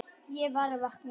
Ég var að vakna.